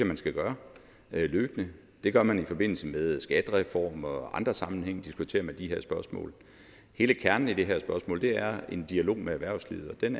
man skal gøre løbende det gør man i forbindelse med skattereformer og andre sammenhænge diskuterer man de her spørgsmål hele kernen i det her spørgsmål er en dialog med erhvervslivet og den